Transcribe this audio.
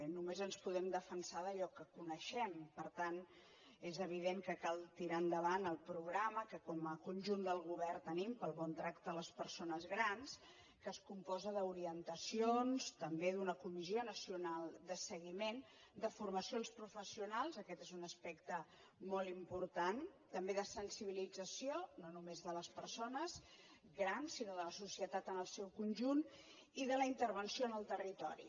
només ens podem defensar d’allò que coneixem per tant és evident que cal tirar endavant el programa que com a conjunt del govern tenim pel bon tracte a les persones grans que es compon d’orientacions també d’una comissió nacional de seguiment de formació als professionals aquest és un aspecte molt important també de sensibilització no només de les persones grans sinó de la societat en el seu conjunt i de la intervenció en el territori